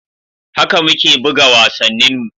Haka muke buga wasanninmu.